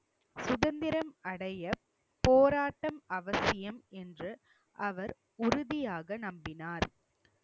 சுதந்திரம் அடைய போராட்டம் அவசியம் என்று அவர் உறுதியாக நம்பினார்